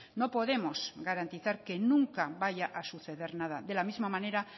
no podemos garantizar que nunca vaya a suceder nada de la misma manera